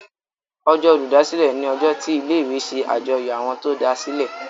Ọjọ́ Olùdásílẹ̀ ní ojó tí ilé ìwé ṣe àjọyọ̀ Àwọn tó dasilẹ.